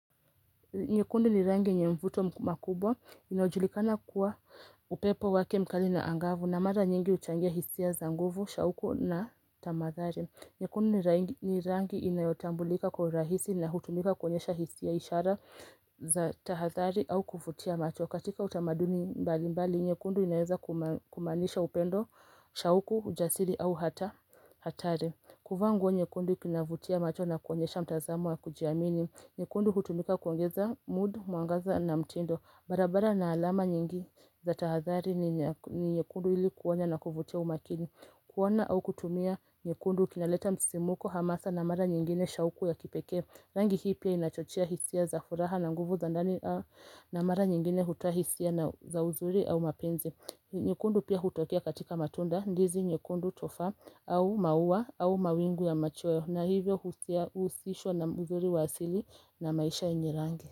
Nyekundu ni rangi yenye mvuto makubwa inayojulikana kuwa upepo wake mkali na angavu na mara nyingi huchangia hisia za nguvu, shauku na tamathari. Nyekundu ni rangi inayotambulika kwa urahisi na hutumika kuonyesha hisia ishara za tahadhari au kuvutia macho. Katika utamaduni mbali mbali, nyekundu inaweza kumaanisha upendo, shauku, ujasiri au hata hatari. Kuvaa nguo nyekundu kinavutia macho na kuonyesha mtazamo wa kujiamini. Nyekundu hutumika kuangeza mood, mwangaza na mtindo. Barabara na alama nyingi za tahadhari ni nyekundu ili kuonya na kuvutia umakini. Kuona au kutumia nyekundu kinaleta msimuko, hamasa na mara nyingine shauku ya kipekee. Rangi hii pia inachochea hisia za furaha na nguvu za ndani na mara nyingine hutoa hisia na za uzuri au mapenzi. Nyekundu pia hutokea katika matunda, ndizi nyekundu tofaa au maua au mawingu ya machweo na hivyo Huhusishwa na uzuri wa asili na maisha yenye rangi.